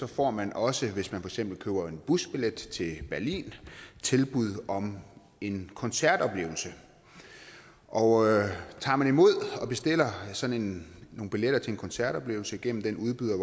får man også hvis man eksempel køber en busbillet til berlin et tilbud om en koncertoplevelse og tager man imod det og bestiller sådan nogle billetter til en koncertoplevelse gennem den udbyder